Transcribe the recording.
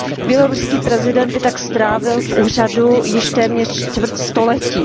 Běloruský prezident by tak strávil v úřadu již téměř čtvrt století.